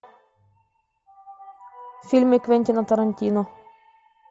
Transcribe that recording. фильмы квентина тарантино